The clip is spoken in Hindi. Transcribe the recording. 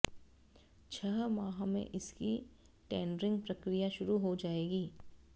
छह माह में इसकी टेंडरिंग प्रक्रिया शुरू हो जाएगी